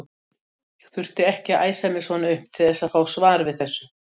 Ég þurfti ekki að æsa mig svona upp til þess að fá svar við þessu.